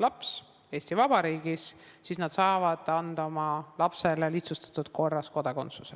laps Eesti Vabariigis, siis nad saavad taotleda oma lapsele kodakondsust lihtsustatud korras.